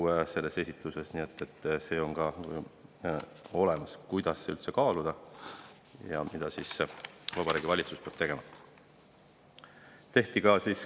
Nii et on olemas, kuidas üldse kaaluda ja mida Vabariigi Valitsus selleks peab tegema.